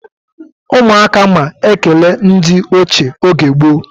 Umu aka ma ekere ndi oche oge gboo